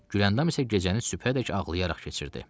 Gülyandam isə gecəni sübhədək ağlayaraq keçirdi.